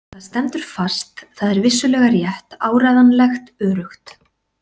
Það stendur fast, það er vissulega rétt, áræðanlegt öruggt.